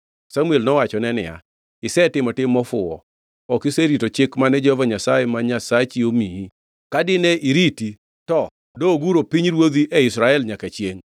Samuel nowachone niya, “Isetimo tim mofuwo. Ok iserito chik mane Jehova Nyasaye ma Nyasachi omiyi; ka dine iriti, to doguro pinyruodhi e Israel nyaka chiengʼ.